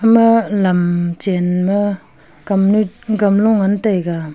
ama lamchen ma kam gamlo ngan taiga.